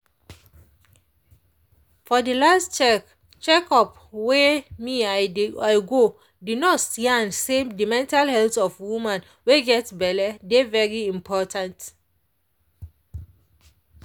for de last check check up wey me i go de nurse yan say the mental health of woman wey get belle dey very important.